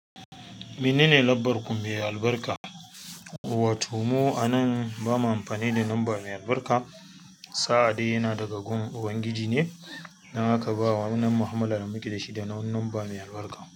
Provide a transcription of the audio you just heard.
Mene ne lambar ku mai albarka? Watomu anan ba ma amfani da lamba mai albarka. Sa'adai yana daga gun ubangiji ne, dan haka ba wa wannan mahammalar mike da shi da na wani lamba mai albarka.